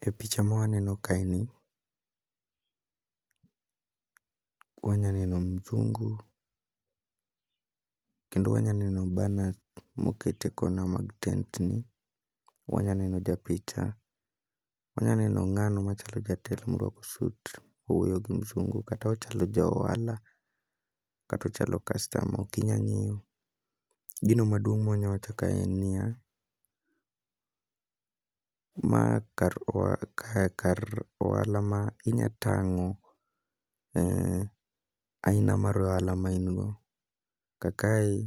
E picha mwaneno kae ni, wanya neno mzungu kendo wanya neno banner moket e kona mag tent ni. Wanya neno ja picha, wanya neno ng'ano machalo jatelo morwako sut owuoyo gi msungu kata ochalo ja ohala kata ochalo kastama okinya ng'eyo. Gino maduong' mwanya wacho ka en niya, ma kar oha kae kar ohala ma inya tang'o aina mar ohala ma in go. Kaka i